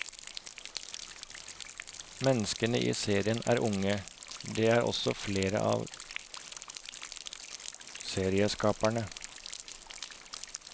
Menneskene i seriene er unge, det er også flere av serieskaperne.